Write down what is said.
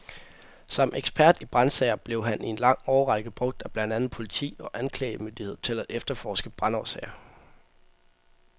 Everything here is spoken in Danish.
Som ekspert i brandsager blev han i en lang årrække brugt af blandt andet politi og anklagemyndighed til at efterforske brandårsager.